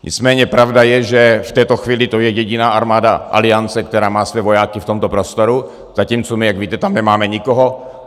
Nicméně pravda je, že v této chvíli to je jediná armáda Aliance, která má své vojáky v tomto prostoru, zatímco my, jak víte, tam nemáme nikoho.